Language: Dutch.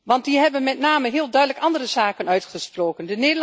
Want die hebben met name heel duidelijk andere zaken uitgesproken.